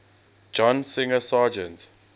john singer sargent